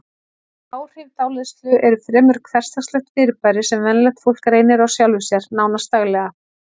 Áhrif dáleiðslu eru fremur hversdagslegt fyrirbæri sem venjulegt fólk reynir á sjálfu sér, nánast daglega.